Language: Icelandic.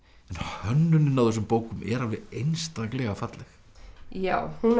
hönnunin á þessum bókum er alveg einstaklega falleg já hún er